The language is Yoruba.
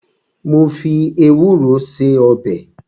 Mo fi ewúro ṣe ọbẹ̀